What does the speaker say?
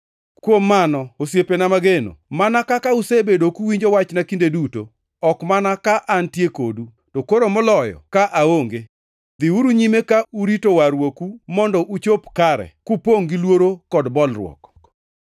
Kuom mano, osiepena mageno, mana kaka usebedo kuwinjo wachna kinde duto, ok mana ka antie kodu, to koro moloyo ka aonge, dhiuru nyime ka urito warruoku mondo ochop kare, kupongʼ gi luoro kod bolruok,